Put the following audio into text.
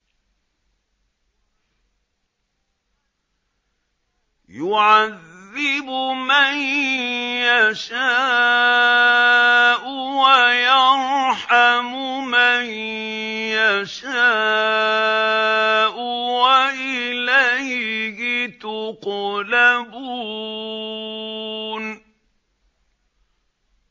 يُعَذِّبُ مَن يَشَاءُ وَيَرْحَمُ مَن يَشَاءُ ۖ وَإِلَيْهِ تُقْلَبُونَ